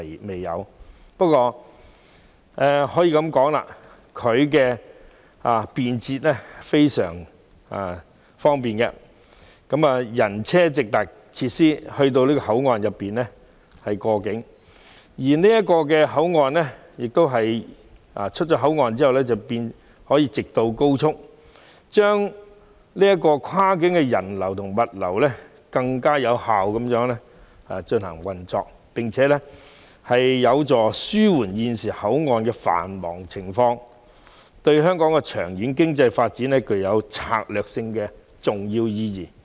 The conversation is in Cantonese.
蓮塘/香園圍口岸十分方便，人和車輛均可以直達口岸設施過境，而離開口岸後，更可直上高速公路，這令跨境的人流和物流能更有效流動，有助紓緩現時口岸的繁忙情況，對香港經濟的長遠發展在策略上具重要意義。